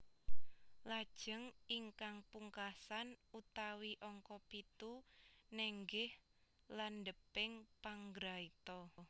Lajeng ingkang pungkasan utawi angka pitu nenggih landheping panggraita